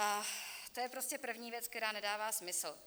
A to je prostě první věc, která nedává smysl.